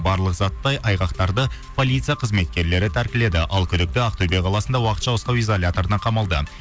барлық затты айғақтарды полиция қызметкерлері тәркіледі ал күдікті ақтөбе қаласында уақытша ұстау изоляторына қамалды